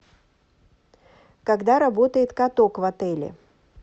когда работает каток в отеле